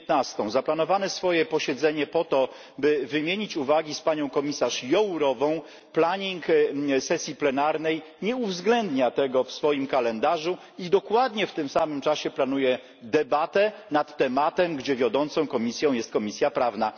19. zaplanowane swoje posiedzenie po to, by wymienić uwagi z panią komisarz Jourovą, planning sesji plenarnej nie uwzględnia tego w swoim kalendarzu i dokładnie w tym samym czasie planuje debatę nad tematem, gdzie wiodącą komisją jest Komisja Prawna.